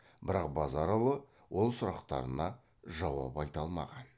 бірақ базаралы ол сұрақтарына жауап айта алмаған